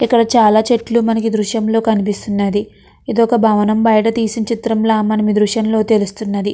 ఇక్కడ చాలా చెట్లు మనకి దృశ్యంలో కనిపిస్తున్నది ఇదొక భవనం బయట తీసిన చిత్రంల మనమీ దృశ్యం లో తెలుస్తుంది.